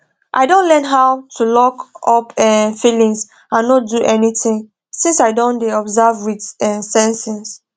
i don learn how to lockup um feelings and no do anything since i don dey observe with um sensings